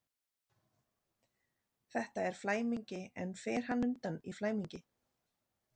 Þetta er flæmingi, en fer hann undan í flæmingi?